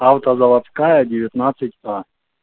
автозаводская девятнадцать а